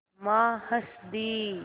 माँ हँस दीं